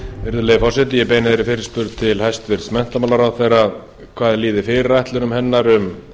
virðulegi forseti ég beini þeirri fyrirspurn til hæstvirts menntamálaráðherra hvað líði fyrirætlunum hennar um